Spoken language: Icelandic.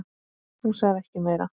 Hún sagði ekki meira.